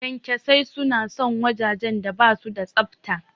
Ƙyanƙyasai suna son wajajen da basu da tsafta.